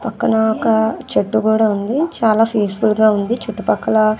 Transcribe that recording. పక్కన ఒక చెట్టు కూడా ఉంది చాలా పీస్ ఫుల్ గా ఉంది చుట్టుపక్కల.